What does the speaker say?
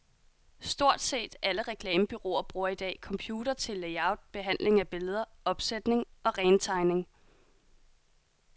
Stort set alle reklamebureauer bruger i dag computere til layout, behandling af billeder, opsætning og rentegning.